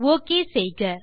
okay செய்க